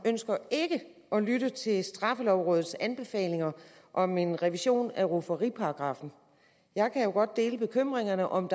ønsker ikke at lytte til straffelovrådets anbefalinger om en revision af rufferiparagraffen jeg kan godt dele bekymringerne om